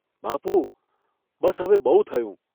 ' બાપુ, બસ હવે બહુ થયું.